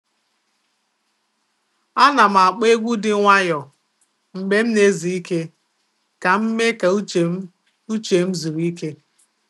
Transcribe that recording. A nà'm ákpọ́ egwu dị nwayọ mgbe m na-ezu ike ka m mee ka uche m uche m zuru ike.